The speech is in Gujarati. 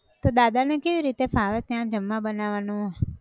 તો દાદા ને કેવી રીતે ફાવે ત્યાં જમવા બનાવાનું